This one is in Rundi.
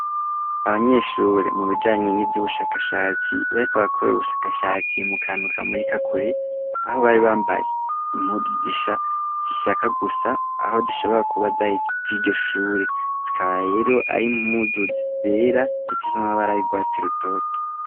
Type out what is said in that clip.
Abanyeshure mu bijanye n'ivy'ubushakashatsi bari ko bakorere ubushakashatsi mu kanuka muri kakure aho bari bambaye impuzu zishaka gusa aho zishobora kubaza vy'iryoshure zikaba rero arimpuzu zizera zipi z'amabara y'urwatsi rutoto.